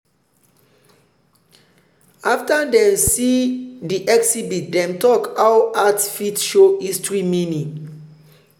after dem see di exhibit dem talk how art fit show history meaning.